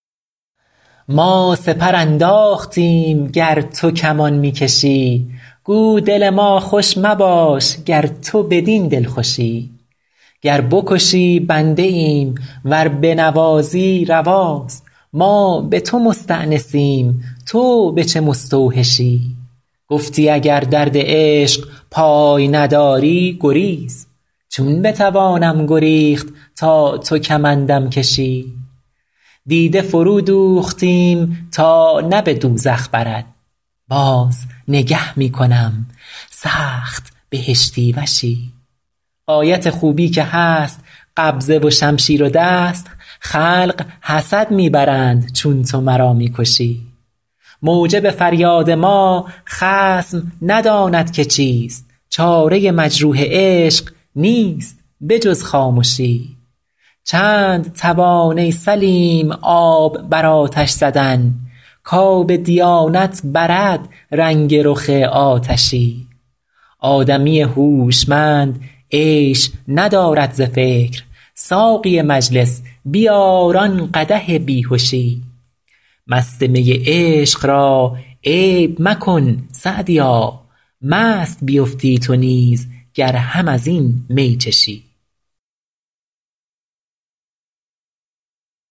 ما سپر انداختیم گر تو کمان می کشی گو دل ما خوش مباش گر تو بدین دلخوشی گر بکشی بنده ایم ور بنوازی رواست ما به تو مستأنسیم تو به چه مستوحشی گفتی اگر درد عشق پای نداری گریز چون بتوانم گریخت تا تو کمندم کشی دیده فرودوختیم تا نه به دوزخ برد باز نگه می کنم سخت بهشتی وشی غایت خوبی که هست قبضه و شمشیر و دست خلق حسد می برند چون تو مرا می کشی موجب فریاد ما خصم نداند که چیست چاره مجروح عشق نیست به جز خامشی چند توان ای سلیم آب بر آتش زدن کآب دیانت برد رنگ رخ آتشی آدمی هوشمند عیش ندارد ز فکر ساقی مجلس بیار آن قدح بی هشی مست می عشق را عیب مکن سعدیا مست بیفتی تو نیز گر هم از این می چشی